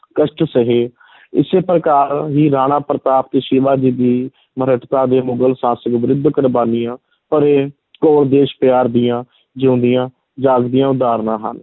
ਕਸ਼ਟ ਸਹੇ ਇਸੇ ਪ੍ਰਕਾਰ ਹੀ ਰਾਣਾ ਪ੍ਰਤਾਪ ਅਤੇ ਸ਼ਿਵਾਜੀ ਦੀ ਦੇ ਮੁਗਲ ਸ਼ਾਸਕ ਵਿਰੁੱਧ ਕੁਰਬਾਨੀਆਂ ਭਰੇ ਘੋਰ ਦੇਸ਼ ਪਿਆਰ ਦੀਆਂ ਜਿਉਂਦੀਆਂ ਜਾਗਦੀਆਂ ਉਦਾਹਰਨਾਂ ਹਨ।